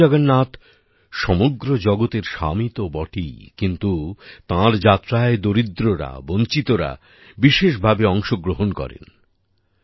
ভগবান জগন্নাথ সমগ্র জগতের স্বামী তো বটেই কিন্তু তাঁর যাত্রায় দরিদ্ররা বঞ্চিতরা বিশেষভাবে অংশগ্রহণ করেন